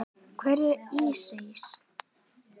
Hver var Ísis?